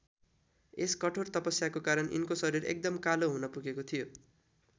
यस कठोर तपस्याको कारण यिनको शरीर एकदम कालो हुन पुगेको थियो।